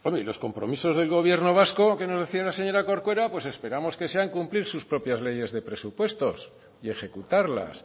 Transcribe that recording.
y los compromisos del gobierno vasco que nos decía la señora corcuera pues esperamos que sean cumplir sus propias leyes de presupuestos y ejecutarlas